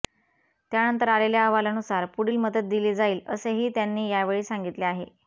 त्यानंतर आलेल्या अहवालानुसार पुढील मदत दिली जाईल असेही त्यांनी यावेळी सांगितले आहे